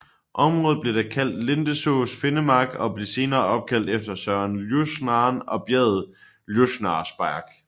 Området blev da kaldt Lindesås finnmark og blev senere opkaldt efter søen Ljusnaren og bjerget Ljusnarsberg